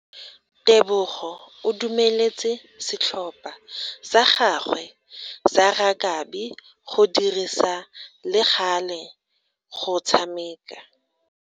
Tebogo o dumeletse setlhopha sa gagwe sa rakabi go dirisa le gale go tshameka.